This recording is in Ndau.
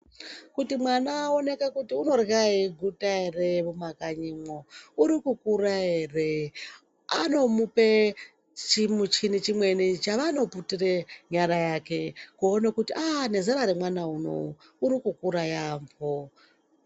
Kuti mwana aoneke kuti unorya eiguta ere mumakanyimwo, urikukura ere vanomupa chimwe chimuchini chimweni chavanoputire nyara yake kuone kuti aaah nezera remwana unou uri kukura yaamho.